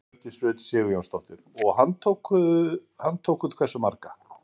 Hjördís Rut Sigurjónsdóttir: Og handtókuð hversu marga?